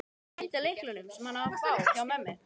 Ég gleymdi lyklunum, sem hann á að fá, hjá ömmu.